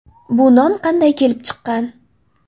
Bu nom qanday kelib chiqqan?